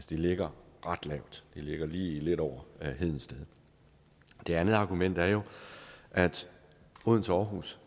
de ligger ret lavt de ligger lige lidt over hedensted det andet argument er jo at odense og aarhus